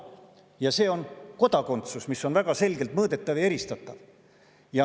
Ja see, mis on väga selgelt mõõdetav ja eristatav, on kodakondsus.